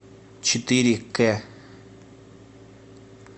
четыре кэ